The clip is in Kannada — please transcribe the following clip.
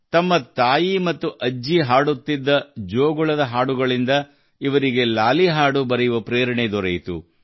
ತಮ್ಮ ತಾಯಿ ಮತ್ತು ಅಜ್ಜಿ ಹಾಡುತ್ತಿದ್ದ ಜೋಗುಳದ ಹಾಡುಗಳಿಂದ ಇವರಿಗೆ ಲಾಲಿ ಹಾಡು ಬರೆಯುವ ಪ್ರೇರಣೆ ದೊರೆಯಿತು